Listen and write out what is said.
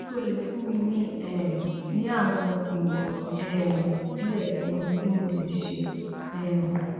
se o le fun mi um ni awọn imọran um die ohun ti mo le ṣe um